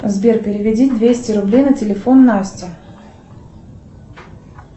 сбер переведи двести рублей на телефон насте